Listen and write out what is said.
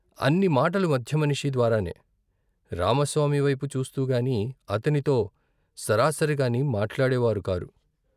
అన్ని మాటలు మధ్యమనిషి ద్వారానే. రామస్వామివైపు చూస్తూగాని, అతనితో సరాసరిగాని మాట్లాడేవారు కారు.